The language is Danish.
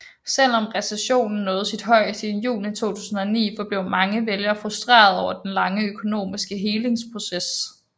Selvom recessionen nåede sit højeste i juni 2009 forblev mange vælgere frustrerede over den lange økonomiske helingsproces